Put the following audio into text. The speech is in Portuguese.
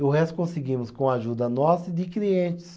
E o resto conseguimos com a ajuda nossa e de clientes.